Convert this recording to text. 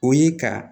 O ye ka